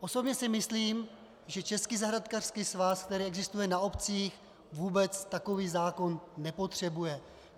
Osobně si myslím, že Český zahrádkářský svaz, který existuje na obcích, vůbec takový zákon nepotřebuje.